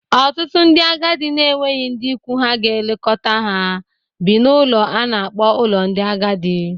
Ọtụtụ ndị agadi na-enweghị ndị ikwu ha ga na-elekọta ha bi n’ụlọ a na-akpọ ụlọ ndị agadi